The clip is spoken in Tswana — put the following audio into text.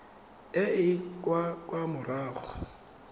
e e ka kwa morago